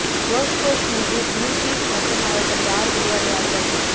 golf course மீது blue tees மற்றும் அவர்கள் யார் விளையாடுவார்கள்